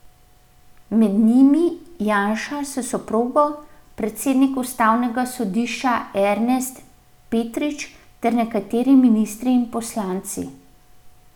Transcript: Med njimi Janša s soprogo, predsednik ustavnega sodišča Ernest Petrič ter nekateri ministri in poslanci.